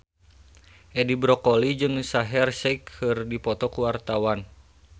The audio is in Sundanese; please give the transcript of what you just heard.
Edi Brokoli jeung Shaheer Sheikh keur dipoto ku wartawan